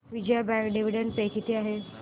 Vijaya bank dividend pay किती आहे